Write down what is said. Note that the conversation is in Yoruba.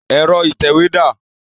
Ẹ̀rọ ìtẹ̀wé dá à?